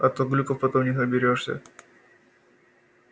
а то глюков потом не оберёшься